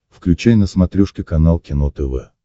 включай на смотрешке канал кино тв